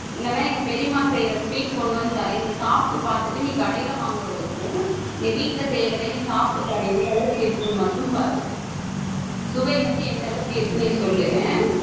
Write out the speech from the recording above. இல்லைன்னா எங்க பெரியம்மா செய்யற sweet கொண்டு வந்து தரேன். நீ சாப்பிட்டு பார்த்துட்டு நீ கடையில வாங்குறதுக்கும் இங்க வீட்டுல செய்யுறதையும் நீ சாப்பிட்டு பாரு எந்த அளவுக்கு இருக்குன்னு மட்டும் பாரு சுவை வந்து எந்த அளவுக்கு இருக்குன்னு நீ சொல்லு